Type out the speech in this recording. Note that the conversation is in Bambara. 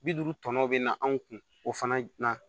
Bi duuru tɔ bɛ na anw kun o fana na